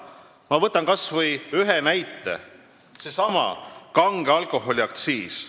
Ma võtan kas või ühe näite, sellesama kange alkoholi aktsiisi.